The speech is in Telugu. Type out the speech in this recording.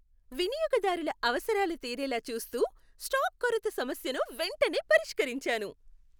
వినియోగదారుల అవసరాలు తీరేలా చూస్తూ, స్టాక్ కొరత సమస్యను వెంటనే పరిష్కరించాను.